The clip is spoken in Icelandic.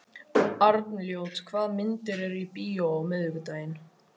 Arnljót, hvaða myndir eru í bíó á miðvikudaginn?